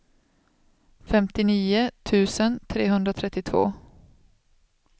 femtionio tusen trehundratrettiotvå